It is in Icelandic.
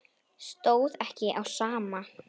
Stóð ekki á sama.